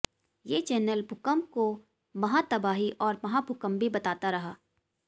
ये चैनल भूकंप को महातबाही और महाभूकंप भी बताता रहा